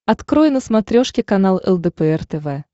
открой на смотрешке канал лдпр тв